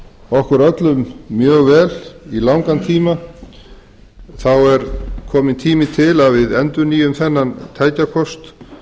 okkur öllum mjög vel í langan tíma er kominn tími til að við endurnýjum þennan tækjakost